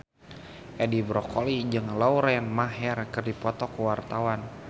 Edi Brokoli jeung Lauren Maher keur dipoto ku wartawan